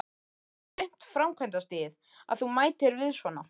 Er þetta svona aumt framkvæmdastigið, að þú mætir við svona?